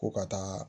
Ko ka taa